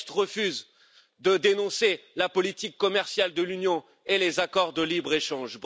Le texte refuse de dénoncer la politique commerciale de l'Union et les accords de libre échange.